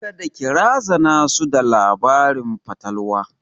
Kada ki razana su da labarin fatalwa!